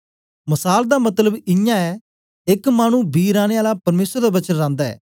मसाल दा मतलब इयां यै एक मानु बी राने आला परमेसर दा वचन रांदा ऐ